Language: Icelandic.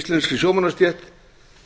íslenskri sjómannastétt